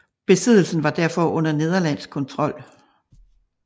Besiddelsen var derfor under nederlandsk kontrol